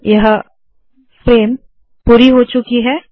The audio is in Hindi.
यह फ्रेम पूरी हो चुकी है